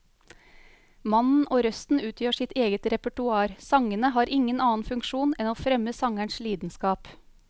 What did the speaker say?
Mannen og røsten utgjør sitt eget repertoar, sangene har ingen annen funksjon enn å fremme sangerens lidenskap.